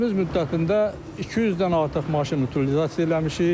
Fəaliyyətimiz müddətində 200-dən artıq maşın utilizasiya eləmişik.